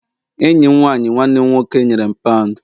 enyi m nwanyi nwanne m nwoke nyere m pound